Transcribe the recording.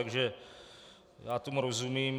Takže já tomu rozumím.